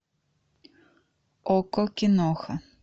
окко киноха